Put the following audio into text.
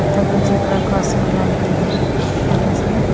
అక్కడ zebra crossing లాంటి ప్రదేశము.